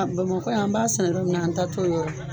Bamakɔ yan an b'a sɛnɛ yɔrɔ min na an ta t'o yɔrɔ